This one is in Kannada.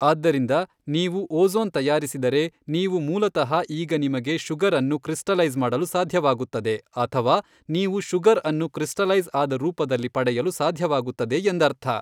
ಆದ್ದರಿಂದ ನೀವು ಓಝೋನ್ ತಯಾರಿಸಿದರೆ ನೀವು ಮೂಲತಃ ಈಗ ನಿಮಗೆ ಶುಗರ್ ಅನ್ನು ಕ್ರಿಸ್ಟಲೈಜ್ ಮಾಡಲು ಸಾಧ್ಯವಾಗುತ್ತದೆ ಅಥವಾ ನೀವು ಶುಗರ್ ಅನ್ನು ಕ್ರಿಸ್ಟಲೈಜ್ ಆದ ರೂಪದಲ್ಲಿ ಪಡೆಯಲು ಸಾಧ್ಯವಾಗುತ್ತದೆ ಎಂದರ್ಥ.